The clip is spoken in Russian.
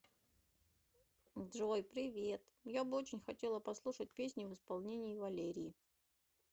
джой привет я бы очень хотела послушать песни в исполении валерии